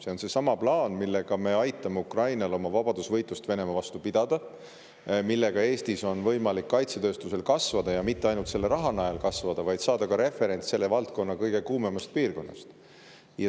See on seesama plaan, millega me aitame Ukrainal pidada tema vabadusvõitlust Venemaa vastu ja mille abil on võimalik Eestis kaitsetööstusel kasvada ja mitte ainult selle raha najal kasvada, vaid saada ka referents selle valdkonna kõige kuumemast piirkonnast.